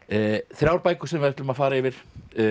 þrjár bækur sem við ætlum að fara yfir